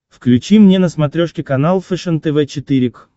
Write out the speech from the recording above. включи мне на смотрешке канал фэшен тв четыре к